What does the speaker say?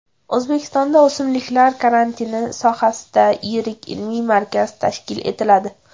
O‘zbekistonda o‘simliklar karantini sohasida yirik ilmiy markaz tashkil etiladi.